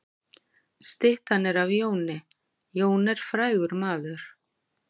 Styttan er af Jóni. Jón er frægur maður.